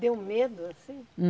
Deu medo, assim?